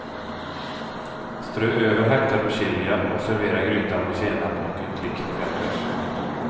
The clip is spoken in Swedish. Strö över hackad persilja och servera grytan med senap och en klick crème fraiche.